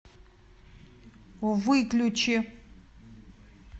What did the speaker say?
выключи